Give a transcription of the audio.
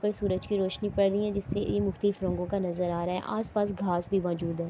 پر سورج کی روشنی پڑ رہی ہے۔ جسسے یہ مختلف رنگو کا نظر آ رہا ہے۔ اس پاس گھاس بھی موزود ہے۔